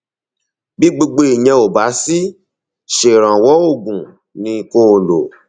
bí gbogbo ìyẹn ò bá sì ṣèrànwọ oògùn ni kó o lò